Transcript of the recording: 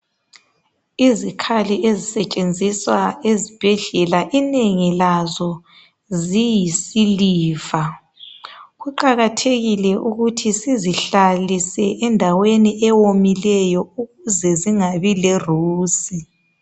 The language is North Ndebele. Izikhali ezisetshenziswa ezbhedlela, inengi lazo ziyisiliva. Kuqakathekile ukuthi sizihlalise endaweni ewomileyo ukuze zingabi lerusi.